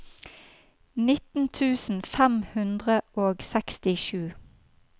nitten tusen fem hundre og sekstisju